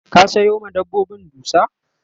ka Sayo ma dabbobin dusa?